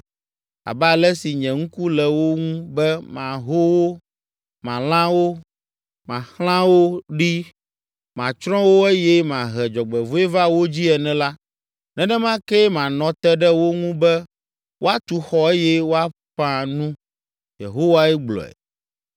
Abe ale si nye ŋku le wo ŋu be maho wo, malã wo, maxlã wo ɖi, matsrɔ̃ wo eye mahe dzɔgbevɔ̃e va wo dzii ene la, nenema kee manɔ te ɖe wo ŋu be woatu xɔ eye woaƒã nu” Yehowae gblɔe.